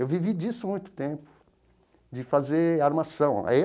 Eu vivi disso há muito tempo, de fazer armação aí.